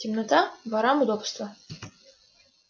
темнота ворам удобство